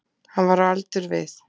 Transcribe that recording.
Hann var á aldur við